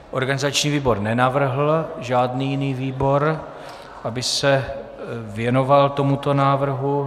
Organizační výbor nenavrhl žádný jiný výbor, aby se věnoval tomuto návrhu.